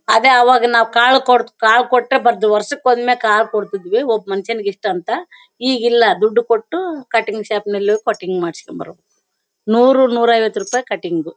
ಅದೇ ಅವಾಗ ನಾವು ಕಾಳು ಕೊಡ್ ಕಾಳು ಕೊಟ್ರೆ ಬರೋದು ವರ್ಷಕ್ಕೊಮ್ಮೆ ಕಾಳು ಕೊಡ್ತಿದ್ವಿ ಒಬ್ಬ ಮನುಷ್ಯನಿಗೆ ಇಷ್ಟು ಅಂತ ಈಗಿಲ್ಲ ದುಡ್ಡು ಕೊಟ್ಟು ಕಟಿಂಗ್ ಶಾಪ್ ಗೆ ಹೋಗಿ ಕಟಿಂಗ್ ಮಾಡಿಸಿಕೊಂಡು ಬರೋದು ನೂರು ನೂರೈವತ್ತು ರೂಪಾಯಿ ಕಟಿಂಗ್ .